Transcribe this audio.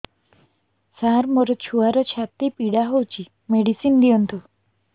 ସାର ମୋର ଛୁଆର ଛାତି ପୀଡା ହଉଚି ମେଡିସିନ ଦିଅନ୍ତୁ